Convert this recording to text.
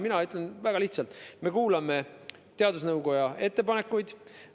Mina ütlen väga lihtsalt: me kuulame teadusnõukoja ettepanekuid.